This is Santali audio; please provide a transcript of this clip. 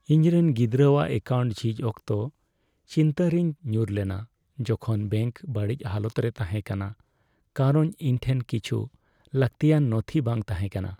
ᱤᱧ ᱨᱮᱱ ᱜᱤᱫᱽᱨᱟᱹᱼᱟᱜ ᱮᱠᱟᱣᱩᱱᱴ ᱡᱷᱤᱡ ᱚᱠᱛᱚ ᱪᱤᱱᱛᱟᱹ ᱨᱮᱧ ᱧᱩᱨ ᱞᱮᱱᱟ ᱡᱚᱠᱷᱚᱱ ᱵᱮᱝᱠ ᱵᱟᱹᱲᱤᱡ ᱦᱟᱞᱚᱛ ᱨᱮ ᱛᱟᱦᱮᱸ ᱠᱟᱱᱟ ᱠᱟᱨᱚᱱ ᱤᱧᱴᱷᱮᱱ ᱠᱤᱪᱷᱩ ᱞᱟᱹᱠᱛᱤᱭᱟᱱ ᱱᱚᱛᱷᱤ ᱵᱟᱝ ᱛᱟᱦᱮᱸ ᱠᱟᱱᱟ ᱾